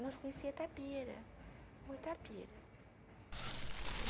Nós conhecíamos Itapira.